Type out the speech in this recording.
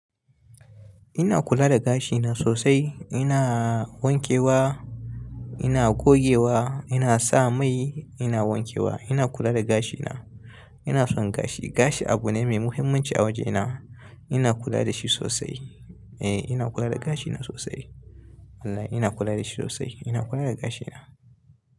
Ina kula da gashina sosai. Ina wankewa, ina gogewa, ina sa mai, ina wankewa. Ina kula da gashina. Ina son gashi. Gashi abu ne mai muhimmanci a waje na. Ina kula da shi sosai. Eh, ina kula da gashina sosai. Allah, ina kula da shi sosai. Ina kula da gashina.